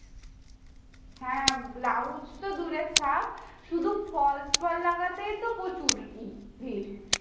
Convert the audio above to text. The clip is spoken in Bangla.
হ্যাঁ blouse তো দূরে থাকে শুধু falls পাড় লাগাতেই তো প্রচুর